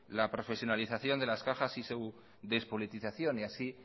la profesionalización de las cajas y su despolitización y así